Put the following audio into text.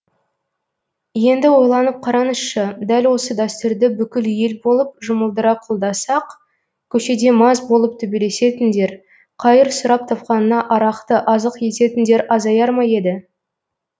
енді ойланып қараңызшы дәл осы дәстүрді бүкіл ел болып жұмылдыра қолдасақ көшеде мас болып төбелесетіндер қайыр сұрап тапқанына арақты азық ететіндер азаяр ма еді